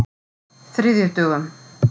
þriðjudögum